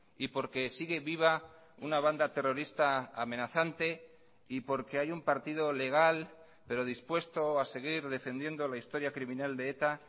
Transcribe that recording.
y porque sigue viva una banda terrorista amenazante y porque hay un partido legal pero dispuesto a seguir defendiendo la historia criminal de eta